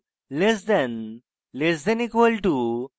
le then le then equal to